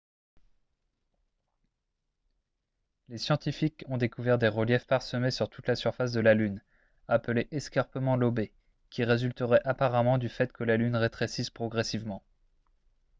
les scientifiques ont découvert des reliefs parsemés sur toute la surface de la lune appelés escarpements lobés qui résulteraient apparemment du fait que la lune rétrécisse progressivement